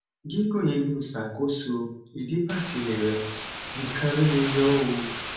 gígùn inú ṣàkóso ìdípatílẹ rẹ nìkan ló lè yóò o